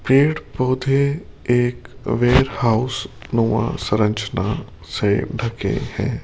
पेड़ पौधे एक वेयर हाउस नूमा सरंजना से ढके है।